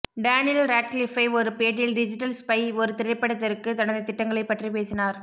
Daniel Radcliffe ஒரு பேட்டியில் digital spy ஒரு திரைப்படத்திற்கு தனது திட்டங்களை பற்றி பேசினார்